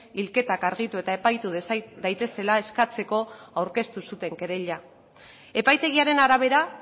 hilketak argitu eta epaitu daitezela aurkeztu zuten kereila epaitegiaren arabera